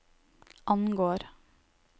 angår